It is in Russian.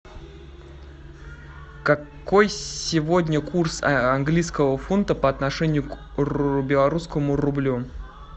какой сегодня курс английского фунта по отношению к белорусскому рублю